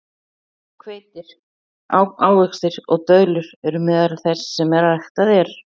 Hveiti, ávextir og döðlur eru meðal þess sem ræktað er.